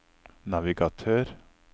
navigatør